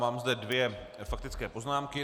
Mám zde dvě faktické poznámky.